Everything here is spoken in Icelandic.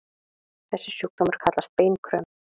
Þessi sjúkdómur kallast beinkröm.